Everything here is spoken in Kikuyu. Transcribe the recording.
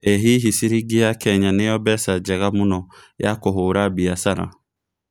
ĩ hihi ciringi ya Kenya nĩyo mbeca njega mũno ya kũhũra mbĩacara